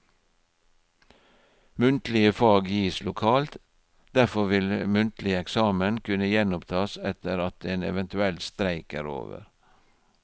Muntlige fag gis lokalt, derfor vil muntlig eksamen kunne gjenopptas etter at en eventuell streik er over.